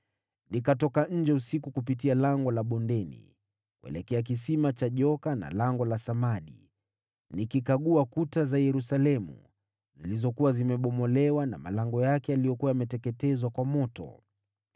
Nikatoka nje usiku kupitia Lango la Bondeni, kuelekea Kisima cha Joka na Lango la Samadi, nikikagua kuta za Yerusalemu zilizokuwa zimebomolewa, na malango yake yaliyokuwa yameteketezwa kwa moto.